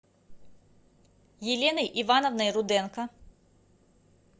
еленой ивановной руденко